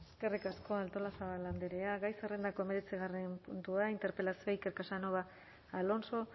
eskerrik asko artolazabal andrea gai zerrendako hemeretzigarren puntua interpelazioa iker casanova alonso